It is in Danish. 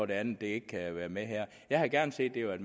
det andet ikke kan være med her jeg havde gerne set at